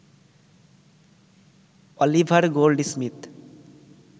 Oliver Goldsmith